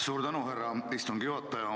Suur tänu, härra istungi juhataja!